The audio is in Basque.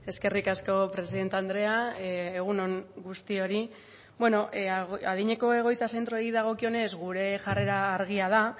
eskerrik asko presidente andrea egun on guztiori bueno adineko egoitza zentroei dagokionez gure jarrera argia da